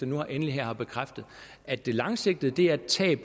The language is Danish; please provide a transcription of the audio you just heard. nu endelig her har bekræftet at der langsigtet er et tab